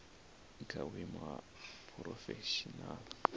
i kha vhuimo ha phurofeshinala